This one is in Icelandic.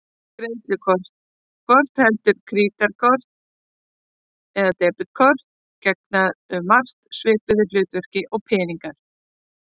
Greiðslukort, hvort heldur krítarkort eða debetkort, gegna um margt svipuðu hlutverki og peningar.